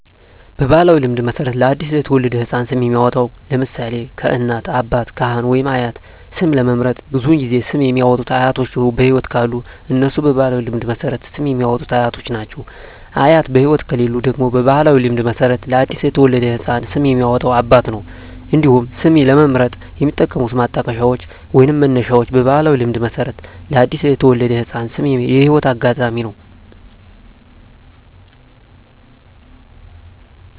በባሕላዊ ልማድ መሠረት ለ አዲስ የተወለደ ሕፃን ስም የሚያወጣዉ (ለምሳሌ: ከእናት፣ አባት፣ ካህን ወይም አያት) ስም ለመምረጥ ብዙውን ጊዜ ስም የሚያወጡት አያቶች በህይወት ካሉ እነሱ በባህላዊ ልማድ መሠረት ስም የሚያወጡት አያቶች ናቸው። አያት በህይወት ከሌሉ ደግሞ በባህላዊ ልማድ መሠረት ለአዲስ የተወለደ ህፃን ስም የሚያወጣው አባት ነው። እንዲሁም ስም ለመምረጥ የሚጠቀሙት ማጣቀሻዎች ወይንም መነሻዎች በባህላዊ ልማድ መሠረት ለአዲስ የተወለደ ህፃን ስም የህይወት አጋጣሚ ነው።